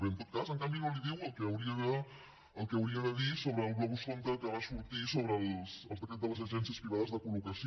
bé en tot cas en canvi no li diu el que hauria de dir sobre el globus sonda que va sortir sobre el decret de les agències privades de col·locació